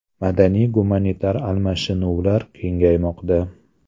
Madaniy-gumanitar almashinuvlar kengaymoqda.